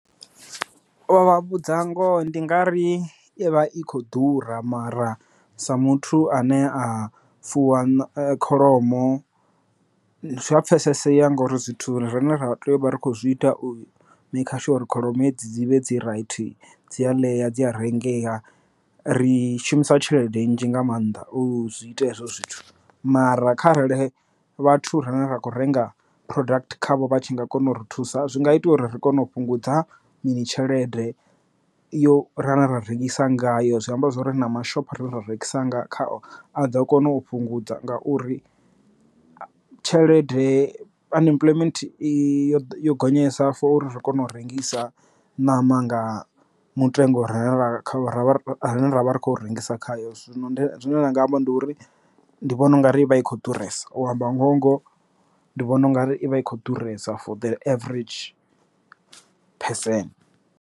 U vha vhudza ngoho ndi nga ri i vha i khou ḓura mara sa muthu ane a fuwa kholomo zwi a pfesesea ngori zwithu rine ra tea uvha ri kho zwi ita u maker sure uri kholomo dzi vhe dzi right dzi a ḽeya dzi a rengeya ri shumisa tshelede nnzhi nga maanḓa u zwi ita hezwo zwithu. Mara kharali vhathu rine ra kho renga product khavho vha tshi nga kona u ri thusa zwi nga itia uri ri kone u fhungudza mini tshelede yo rine ra rengisa ngayo zwi amba zwori na mashopho ra rengisa nga kha a ḓo kona u fhungudza nga uri tshelede unemployment i yo yo gonyesa for uri ri kone u rengisa ṋama nga mutengo or ra vha ri khou rengisa khayo zwino nṋe zwine nda nga amba ndi uri ndi vhona ungari ivha i kho ḓuresa u amba ngoho ngoho ndi vhona ungari ivha i kho ḓuresa for the average person.